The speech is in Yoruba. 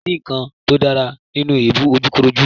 kòsí nǹkan tó dára nínú èébú ojúkòkòrò.